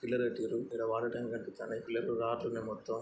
Pillar కట్టిండ్రు. ఇక్కడ water tank కనిపిస్తున్నాయి. ఎత్తులో రాడ్లున్నాయి మొత్తమ్. ]